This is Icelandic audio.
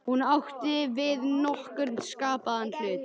Hún átti ekki við nokkurn skapaðan hlut.